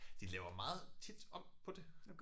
De laver meget tit om på det?